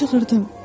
Mən çığırdım.